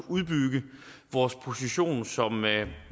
at udbygge vores position som